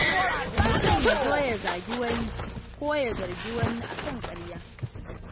Mutum ya zo ya zagi wani ko ya zargi wani a kan ƙarya.